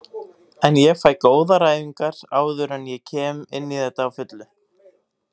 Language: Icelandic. En fæ góðar æfingar áður en ég kem inní þetta á fullu.